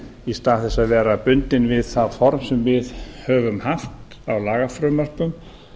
í stað þess að vera bundin við það form sem við höfum haft af lagafrumvörpum